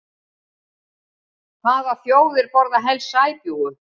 Hvaða þjóðir borða helst sæbjúgu?